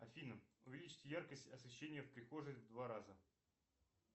афина увеличить яркость освещения в прихожей в два раза